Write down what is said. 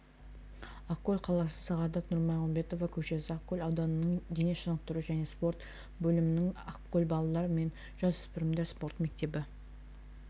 ақкөл қаласы сағадат нұрмағамбетова көшесі ақкөл ауданының дене шынықтыру және спорт бөлімінің ақкөл балалар мен жасөспірімдер спорт мектебі